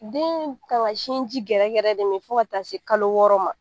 Den kan ka sinji gɛrɛ gɛrɛ de mi fo ka taa se kalo wɔɔrɔ ma.